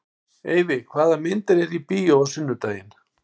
Eyfi, hvaða myndir eru í bíó á sunnudaginn?